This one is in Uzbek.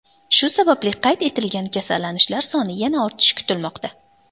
Shu sababli qayd etilgan kasallanishlar soni yana ortishi kutilmoqda.